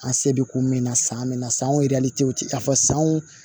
An se bɛ ko min na san min na sanw a fɔ san wo